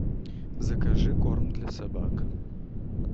закажи корм для собак